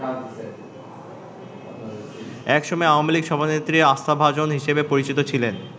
একসময় আওয়ামী লীগ সভানেত্রীর আস্থাভাজন হিসেবে পরিচিত ছিলেন।